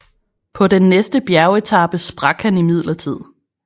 På den næste bjergetape sprak han imidlertid